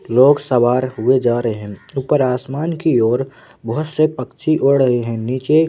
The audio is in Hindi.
लोग सवार हुए जा रहे हैं ऊपर आसमान की ओर बहुत से पक्षी उड़ रहे हैं नीचे--